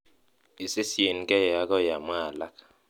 isisyigen agoi amwa alak